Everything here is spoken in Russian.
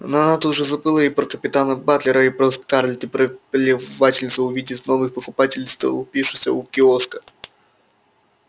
но она тут же забыла и про капитана батлера и про скарлетт и про плевательницу увидев новых покупателей столпившихся у киоска